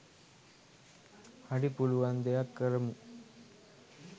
හරි පුලුවන් දෙයක් කරමු